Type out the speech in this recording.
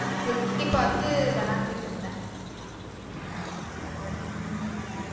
எட்டி பாத்து விளாண்டுட்டு இருந்தேன் உம்